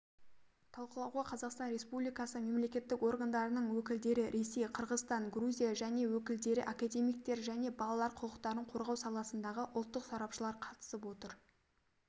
талқылауға қазақстан республикасы мемлекеттік органдарының өкілдері ресей қырғызстан грузия және өкілдері академиктер және балалар құқықтарын қорғау саласындағы ұлттық сарапшылар қатысып отыр